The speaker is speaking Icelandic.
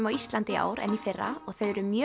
á Íslandi í ár en í fyrra og þau eru mjög